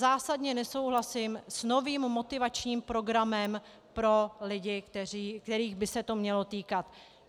Zásadně nesouhlasím s novým motivačním programem pro lidi, kterých by se to mělo týkat.